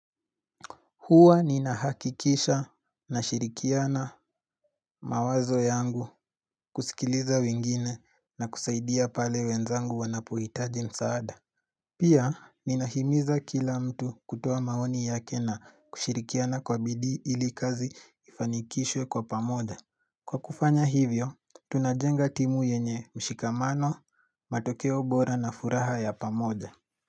Hua ninahakikisha nashirikiana mawazo yangu kusikiliza wingine na kusaidia pale wenzangu wanapuitaji msaada. Pia ninahimiza kila mtu kutoa maoni yake na kushirikiana kwa bidii ili kazi ifanikishwe kwa pamoja. Kwa kufanya hivyo, tunajenga timu yenye mshikamano, matokeo bora na furaha ya pamoja.